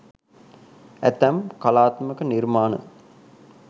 ඇතැම් කලාත්මක නිර්මාණ